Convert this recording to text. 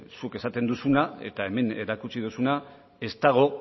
zuk esaten duzuna eta hemen erakutsiko duzuna ez dago